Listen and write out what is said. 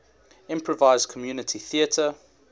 improvised community theatre